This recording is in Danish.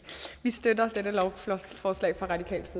vi støtter